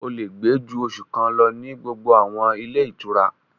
O lè gbé ju oṣù kan lọ ní gbogbo àwọn ilé ìtura